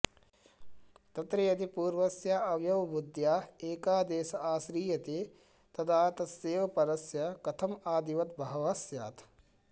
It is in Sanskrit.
तत्र यदि पूर्वस्यावयवबुद्ध्या एकादेश आश्रीयते तदा तस्यैव परस्य कथमादिवद्भावः स्यात्